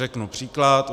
Řeknu příklad.